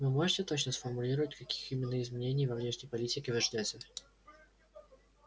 вы можете точно сформулировать каких именно изменений во внешней политике вы ждёте